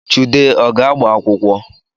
Chude ọ ga-agba akwụkwọ?